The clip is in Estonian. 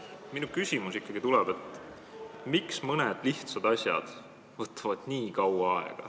Minu küsimus on ikkagi see, miks mõned lihtsad asjad võtavad nii kaua aega.